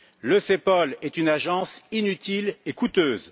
Le CEPOL est une agence inutile et coûteuse.